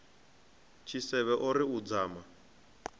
tshisevhe o ri u dzama